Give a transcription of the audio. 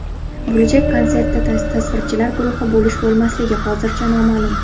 Bo‘lajak konsertda tasvirchilar guruhi bo‘lish-bo‘lmasligi hozircha noma’lum.